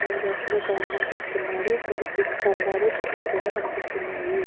ఇద్దరు వ్యక్తులు ప్రయాణం చేస్తున్నారుఇక్కడ విద్యుత్ స్తంబాలు చెట్లు కూడా కనిపిస్తున్నాయి.